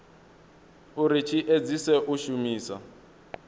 uri tshi edzise u shumisa